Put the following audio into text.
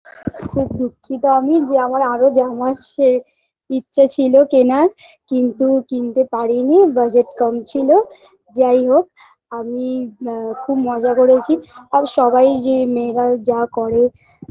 খুব দুঃখিত আমি যে আমার আরো জামার সে ইচ্ছে ছিল কেনার কিন্তু কিনতে পারিনি budget কম ছিল যাই হোক আমি আ খুব মজা করেছি আর সবাই যে মেয়েরা যা করে